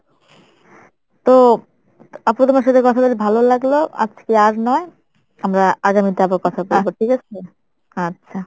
তো আপু তোমার সাথে কথা বলে ভালো লাগলো আজকে আর নয় আমরা আগামীতে আবার কথা বলবো ঠিক আছে আচ্ছা